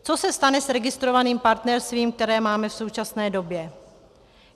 Co se stane s registrovaným partnerstvím, které máme v současné době?